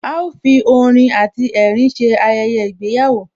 A ó fi orin àti ẹ̀rín ṣe Ayẹyẹ ìgbéyàwó